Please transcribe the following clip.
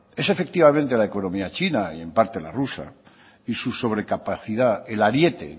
es efectivamente la economía china y en parte la rusa y su sobrecapacidad el ariete